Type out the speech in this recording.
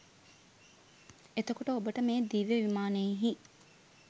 එතකොට ඔබට මේ දිව්‍ය විමානයෙහි